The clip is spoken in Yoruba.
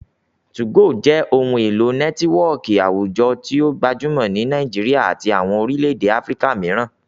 2go jẹ ohun elo nẹtiwọọki awujọ ti o gbajumọ ni Nigeria ati awọn orilẹ-ede Afirika miiran.